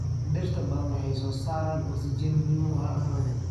Dhirta badan waxay soo saaraan oksijeni muhiim ah hawada.